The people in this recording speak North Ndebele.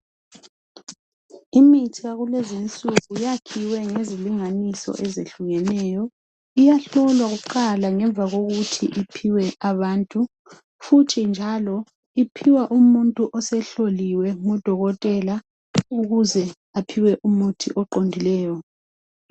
Imithi yakulezinsuku yakhiwe ngezilinganiso ezehlukeneyo. Iyahlolwa kuqala ngemva kokuthi iphiwe abantu. Futhi njalo iphiwa umuntu osehloliwe ngudokotela ukuze aphiwe umuthi oqondileyo.